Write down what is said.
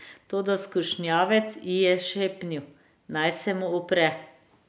Toda skušnjavec ji je šepnil, naj se mu upre.